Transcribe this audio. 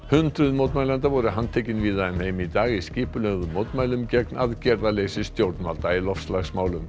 hundruð mótmælenda voru handtekin víða um heim í dag í skipulögðum mótmælum gegn aðgerðarleysi stjórnvalda í loftslagsmálum